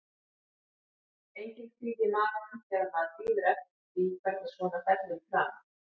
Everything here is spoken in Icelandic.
Enginn kvíði í maganum þegar maður bíður eftir því hvernig svona fellur í kramið?